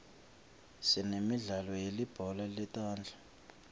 sinemidlalo yelibhola letandla